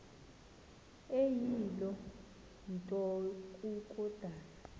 eyiloo nto kukodana